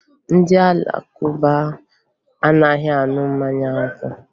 Ndị Alakụba anaghị aṅụ mmanya ọkụ